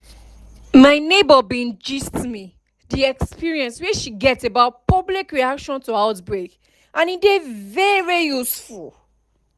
my neighbor bin gist me the experience wey she get about public reaction to outbreak and e dey very useful